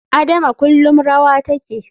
Adama kullum rawa take.